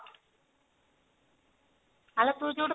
ଆରେ ତୁ ଯୋଉଠୁ